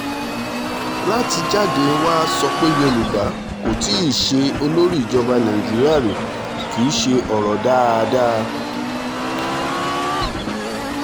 láti jáde wàá sọ pé yorùbá kò tí í ṣe olórí ìjọba nàìjíríà rí kì í ṣe ọ̀rọ̀ dáadáa